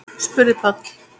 spurði Páll.